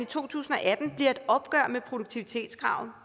to tusind og atten bliver et opgør med produktivitetskravet